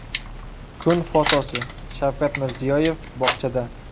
Kun fotosi: Shavkat Mirziyoyev bog‘chada.